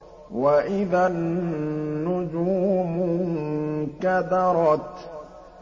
وَإِذَا النُّجُومُ انكَدَرَتْ